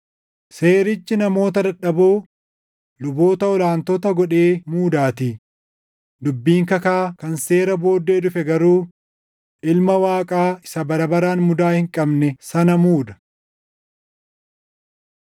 Seerichi namoota dadhaboo, luboota ol aantota godhee muudaatii; dubbiin kakaa kan seera booddee dhufe garuu, Ilma Waaqaa isa bara baraan mudaa hin qabne sana muuda.